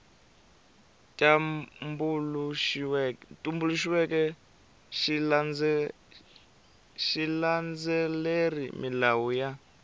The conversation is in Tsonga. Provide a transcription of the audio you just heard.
tumbuluxiweke xi landzelerile milawu ya